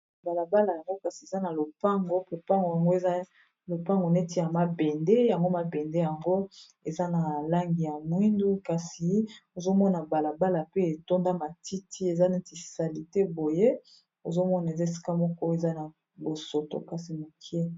Balabala yango kasi eza na lopango popango yango eza lopango neti ya mabende yango mabende yango eza na langi ya mwindu, kasi ozomona balabala pe etonda matiti eza neti sali te boye ozomona eza esika moko eza na bosoto kasi mokie.